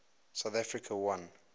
south africa won